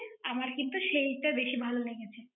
আমার কিন্তু সেইটা বেশি ভালো লেগেছে।